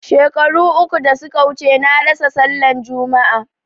Shekaru uku da suka wuce na rasa sallan jama'a